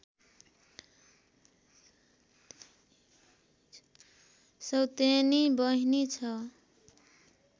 सौतेनी बहिनी छ